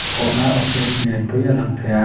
thawhna office lian pui a lang thei a